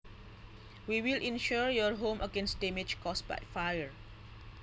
We will insure your home against damage caused by fire